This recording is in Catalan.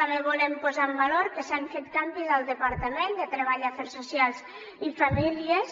també volem posar en valor que s’han fet canvis al departament de treball afers socials i famílies